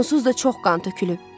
Onsuz da çox qan tökülüb.